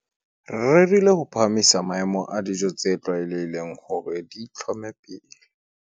Re rerile ho phahamisa maemo a dijo tse tlwaelehileng hore di itlhome pele.